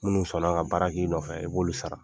Minnu sɔnna ka baara k'i nɔn fɛ, i b'olu sara.